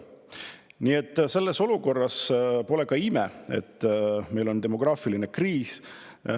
Nii et selles olukorras pole ka ime, et meil on demograafiline kriis.